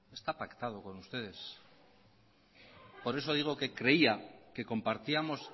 está pactado con ustedes por eso digo que creía que compartíamos